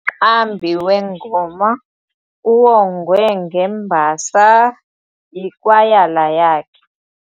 Umqambi wengoma uwongwe ngembasa yikwayala yakhe.